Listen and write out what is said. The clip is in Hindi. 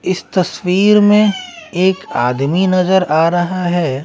इस तस्वीर में एक आदमी नजर आ रहा है।